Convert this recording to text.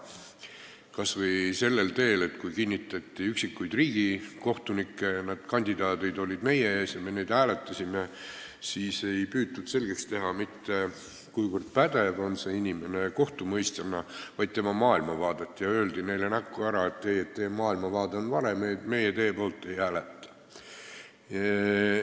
Näiteks, kui kinnitati üksikuid riigikohtunikke ja kandidaadid olid meie ees ja me neid hääletasime, siis ei püütud selgeks teha, kui pädev on inimene kohtumõistjana, vaid milline on tema maailmavaade, ja öeldi näkku ära, et teie maailmavaade on vale ja meie teie poolt ei hääleta.